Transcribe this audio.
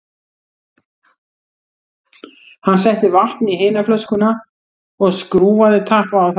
Hann setti vatn í hina flöskuna og skrúfaði tappa á þær báðar.